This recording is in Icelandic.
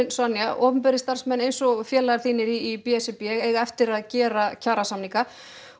opinberir starfsmenn eins og félagar í b s r b eiga eftir að gera kjarasamninga